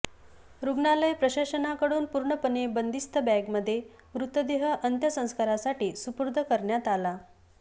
रुग्णालय प्रशासनाकडून पूर्णपणे बंदिस्त बॅगमध्ये मृतदेह अंत्यसंस्कारासाठी सुपूर्द करण्यात आला